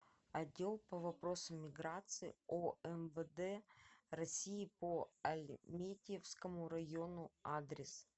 отдел по вопросам миграции омвд россии по альметьевскому району адрес